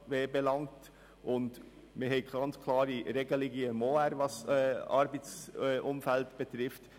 Im Schweizerischen Obligationenrecht (OR) sind klare Regelungen zum Arbeitsumfeld zu finden.